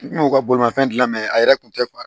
N kun ka bolimanfɛn dilan mɛ a yɛrɛ tun tɛ